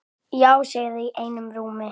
Já segja þau einum rómi.